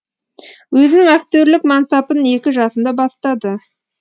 өзінің актерлік мансапын екі жасында бастады